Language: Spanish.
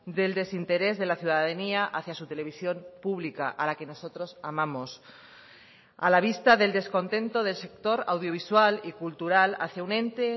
del desinterés de la ciudadanía hacía su televisión pública a la que nosotros amamos a la vista del descontento del sector audiovisual y cultural hacía un ente